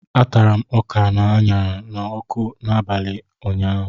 A tara m ọka aṅara n'ọkụ n'abalị ụnyaahụ